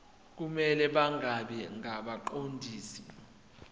kumele bangabi ngabaqondisi